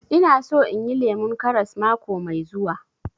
Ina so inyi lemun karas mako mai zuwa